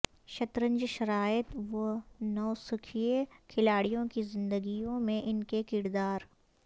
شطرنج شرائط و نوسکھئیے کھلاڑیوں کی زندگیوں میں ان کے کردار